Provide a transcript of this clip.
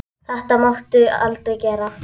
Þetta máttu aldrei gera.